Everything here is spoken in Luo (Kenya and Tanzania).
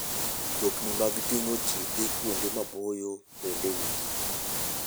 Mtokni mag ting'o ji dhi kuonde maboyo bende nitie.